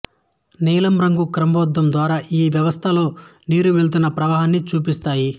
నీలం రంగు క్రమబద్ధం ద్వారా ఈ వ్యవస్థ లో నీరు వెళ్తున్న ప్రవాహాన్ని చూపిస్తాయి